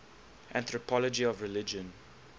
anthropology of religion